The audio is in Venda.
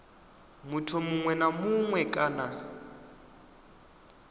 muthu muṅwe na muṅwe kana